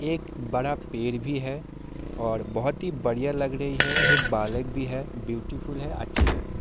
एक बड़ा पेड़ भी है और बहुत ही बढ़िया लग रही है एक बालक भी है ब्यूटीफुल है अच्छी है।